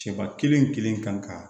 Cɛba kelen kelen kan ka